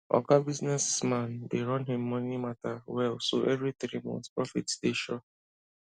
oga business man dey run him money matter well so every three months profit dey sure